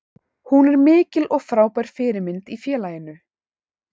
Hún er mikil og frábær fyrirmynd í félaginu.